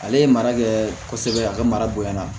Ale ye mara kɛ kosɛbɛ a ka mara bonya na